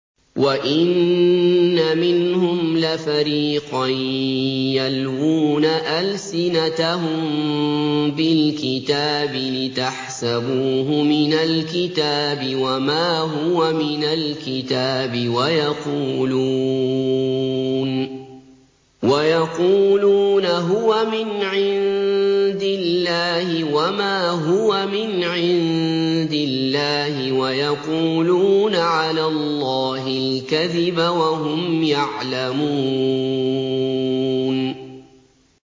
وَإِنَّ مِنْهُمْ لَفَرِيقًا يَلْوُونَ أَلْسِنَتَهُم بِالْكِتَابِ لِتَحْسَبُوهُ مِنَ الْكِتَابِ وَمَا هُوَ مِنَ الْكِتَابِ وَيَقُولُونَ هُوَ مِنْ عِندِ اللَّهِ وَمَا هُوَ مِنْ عِندِ اللَّهِ وَيَقُولُونَ عَلَى اللَّهِ الْكَذِبَ وَهُمْ يَعْلَمُونَ